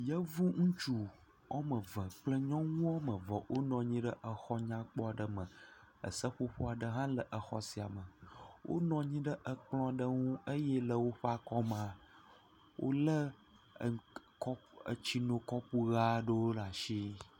Yevu ŋutsu ɔme eve kple nyɔnu wo ame eve wonɔ anyi ɖe e,xɔ takpo aɖe me. Eseƒoƒo aɖe hã le exɔ sia me. Wonɔ anyi ɖe ekplɔ̃ ɖe ŋu eye le woƒe akɔme wolé etsinɔkɔpu ɣe aɖewo ɖe asi.